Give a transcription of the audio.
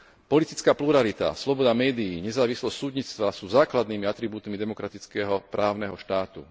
Politická pluralita, sloboda médií, nezávislosť súdnictva sú základnými atribútmi demokratického právneho štátu.